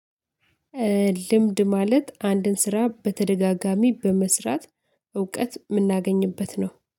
ልምድ ማለት አንድን ስራ በተደጋጋሚ በመስራት እውቀት የምናገኝበት ነው